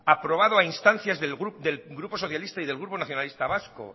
aprobado a instancias del grupo socialista y del grupo nacionalista vasco